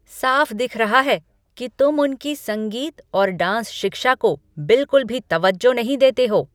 साफ दिख रहा है कि तुम उनकी संगीत और डांस शिक्षा को बिल्कुल भी तवज्जो नहीं देते हो।